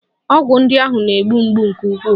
Ọgwụ ndị ahụ na-egbu mgbu nke ukwuu.